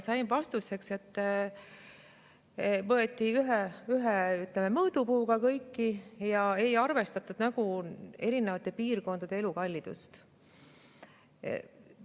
Sain vastuseks, et võeti ühe mõõdupuuga kõiki ja ei arvestatud erinevate piirkondade elukallidust.